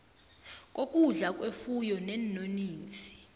kokudla kwefuyo neenonisi